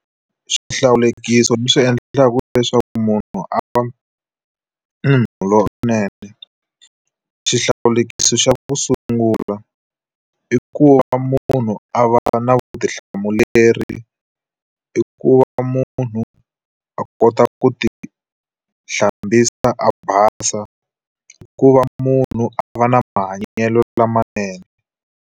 Swihlawulekisi leswi endlaka leswaku munhu a va munhu lowunene. Xihlawulekisi xa ku sungula, i ku va munhu a va na vutihlamuleri, i ku va munhu a kota ku ti hlambisa a basa, i ku va munhu a va na mahanyelo lamanene.